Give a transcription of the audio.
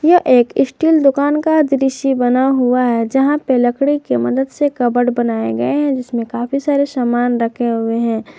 यह एक इस्टील दुकान का दृश्य बना हुआ है जहां पे लकडी की मदद से कबड बनाए गए हैं जिसमे काफी सारे सामान रखे हुए है।